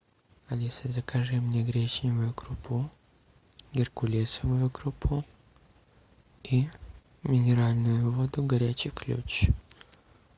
алиса закажи мне гречневую крупу геркулесовую крупу и минеральную воду горячий ключ